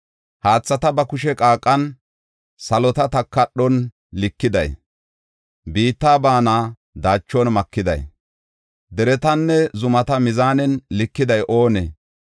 Haathata ba kushe qaaqan, salota takadhon likiday, biitta baana daachon makiday, deretanne zumata mizaanen likiday oonee?